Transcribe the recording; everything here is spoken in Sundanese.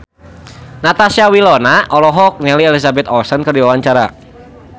Natasha Wilona olohok ningali Elizabeth Olsen keur diwawancara